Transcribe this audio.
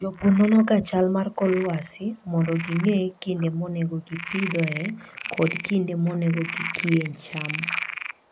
Jopur nonoga chal mar kor lwasi mondo ging'e kinde monego gipidhoe kod kinde monego gikie cham.